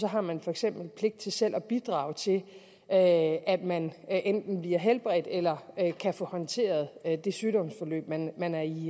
har man for eksempel pligt til selv at bidrage til at man enten bliver helbredt eller kan få håndteret det sygdomsforløb man er i